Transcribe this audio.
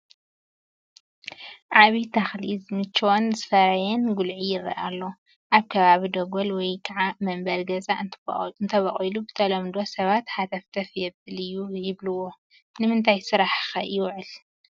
ዓብይ ተኽሊ ዝመቸዎን ዝፈረየን ጉልዒ ይረአ ኣሎ፡፡ ኣብ ከባቢ ደጎል ወይ ከዓ መንበሪ ገዛ እንተቦቑሉ በተለምዶ ሰባት ሃተፍተፍ የብል እዩ ይብልዎ፡፡ ንምንታይ ስራሕ ኸ ይውዕል?